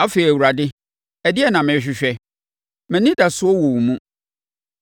“Afei Awurade ɛdeɛn na merehwehwɛ? Mʼanidasoɔ wɔ wo mu.